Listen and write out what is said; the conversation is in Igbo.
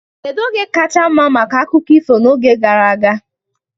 Kedu oge kacha mma maka akụkọ ifo n'oge gara aga?